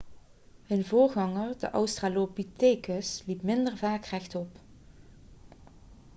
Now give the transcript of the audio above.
hun voorganger de australopithecus liep minder vaak rechtop